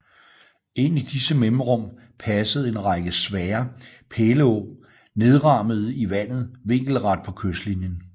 Ind i disse mellemrum passede en række svære pæleåg nedrammede i vandet vinkelret på kystlinien